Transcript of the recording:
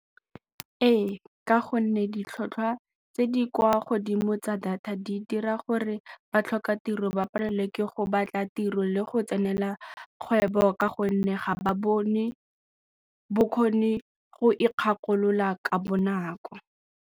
Ee, ka gonne ditlhotlhwa tse di kwa godimo tsa data di dira gore batlhokatiro ba palelwe ke go batla tiro le go tsenela kgwebo ka gonne ga ba bone bokgoni go ikgakolola ka bonako.